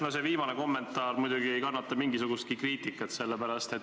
No see viimane kommentaar muidugi ei kannata mingisugustki kriitikat.